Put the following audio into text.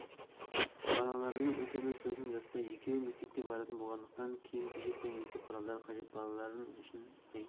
балаларымның үлкені сосын жаста екеуі мектепке баратын болғандықтан киім-кешек пен мектеп құралдары қажет балалар үшін ай